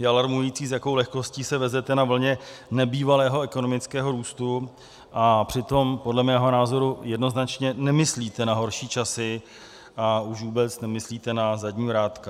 Je alarmující, s jakou lehkostí se vezete na vlně nebývalého ekonomického růstu, a přitom podle mého názoru jednoznačně nemyslíte na horší časy, a už vůbec nemyslíte na zadní vrátka.